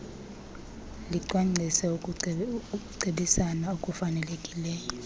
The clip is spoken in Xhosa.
licwangcise ukucebisana okufanelekileyo